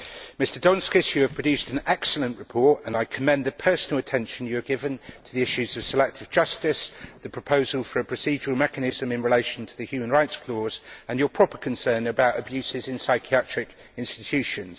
Mr Donskis, you have produced an excellent report, and I commend the personal attention you have given to the issues of selective justice, the proposal for a procedural mechanism in relation to the human rights clause and your proper concern about abuses in psychiatric institutions.